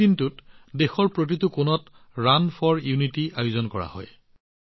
এই দিনটোত দেশৰ প্ৰতিটো কোণত ৰান ফৰ ইউনিটীৰ আয়োজন কৰা হয়